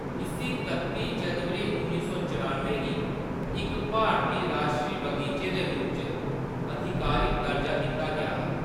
इस्सी कत्ती जनवरी उन्नी सौ चरानुएं गी इक भारती राश्ट्री बगीचे दे रूप च आधिकारिक दर्जा दित्ता गेआ हा।